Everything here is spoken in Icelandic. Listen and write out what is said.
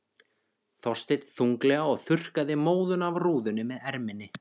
Þorsteinn þunglega og þurrkaði móðuna af rúðunni með erminni.